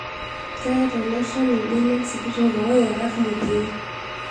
Keeta ele shani mbenek sikitok oo yerat mugien